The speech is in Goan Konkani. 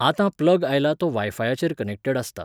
आतां प्लग आयला तो वायफायाचेर कनेक्टेड आसता.